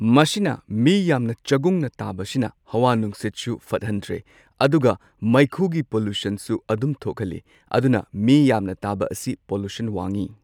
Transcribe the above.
ꯃꯁꯤꯅ ꯃꯤ ꯌꯥꯝꯅ ꯆꯒꯨꯡꯅ ꯇꯥꯕꯁꯤꯅ ꯍꯋꯥ ꯅꯨꯡꯁꯤꯠꯁꯨ ꯐꯠꯍꯟꯗ꯭ꯔꯦ ꯑꯗꯨꯒ ꯃꯩꯈꯨꯒꯤ ꯄꯣꯂꯨꯁꯟꯁꯨ ꯑꯗꯨꯝ ꯊꯣꯛꯍꯜꯂꯤ ꯑꯗꯨꯅ ꯃꯤ ꯌꯥꯝꯅ ꯇꯥꯕ ꯑꯁꯤ ꯄꯣꯂꯨꯁꯟ ꯋꯥꯡꯉꯤ꯫